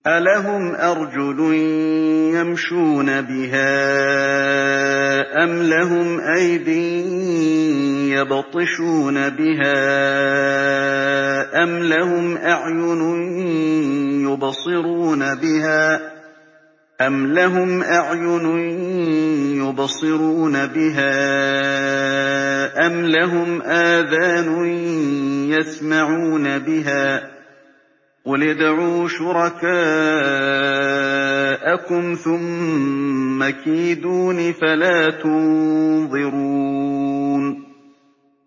أَلَهُمْ أَرْجُلٌ يَمْشُونَ بِهَا ۖ أَمْ لَهُمْ أَيْدٍ يَبْطِشُونَ بِهَا ۖ أَمْ لَهُمْ أَعْيُنٌ يُبْصِرُونَ بِهَا ۖ أَمْ لَهُمْ آذَانٌ يَسْمَعُونَ بِهَا ۗ قُلِ ادْعُوا شُرَكَاءَكُمْ ثُمَّ كِيدُونِ فَلَا تُنظِرُونِ